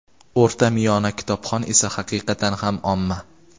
o‘rta-miyona kitobxon esa haqiqatan ham omma.